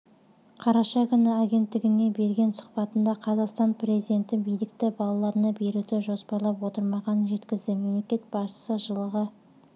қараша күні агенттігіне берген сұхбатында қазақстан президенті билікті балаларына беруді жоспарлап отырмағанын жеткізді мемлекет басшысы жылға